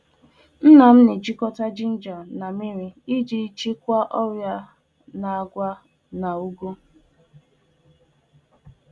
Nna m na- ngwakọta jinja na mmírí iji kwụsị nje ọrịa n'àgwà na ụgụ.